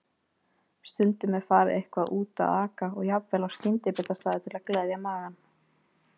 Stundum er farið eitthvað út að aka og jafnvel á skyndibitastaði til að gleðja magann.